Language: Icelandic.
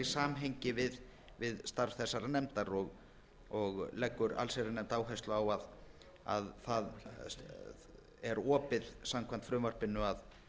samhengi við starf þessarar nefndar og leggur allsherjarnefnd áherslu á að það er opið samkvæmt frumvarpinu